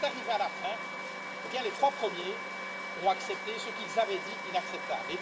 Qu'est ce qui est arrivé, à la fin? Les trois premiers ont accepté ce qu'ils avaient jugé inacceptable.